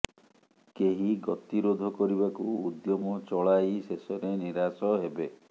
କେହି ଗତିରୋଧ କରିବାକୁ ଉଦ୍ୟମ ଚଳାଇ ଶେଷରେ ନିରାଶ ହେବେ